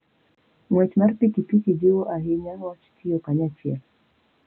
Ng'wech mar pikipiki jiwo ahinya wach tiyo kanyachiel.